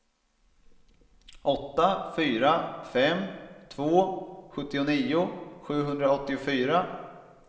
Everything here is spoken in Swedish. åtta fyra fem två sjuttionio sjuhundraåttiofyra